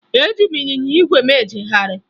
Eji m ịnyịnya ígwè m ejegharị